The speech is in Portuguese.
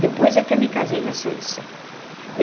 Depois é que eu me casei na Suíça.